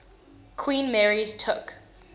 queen mary's took